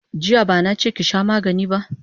Jiya bana che ki sha magani ba!